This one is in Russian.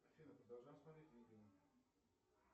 афина продолжаем смотреть видео